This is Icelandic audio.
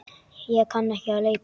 Ég kann ekki að leika.